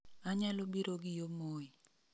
Anyalo biro gi yo moi